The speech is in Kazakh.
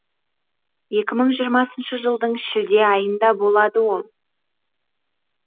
екі мың жиырмасыншы жылдың шілде айында болады ол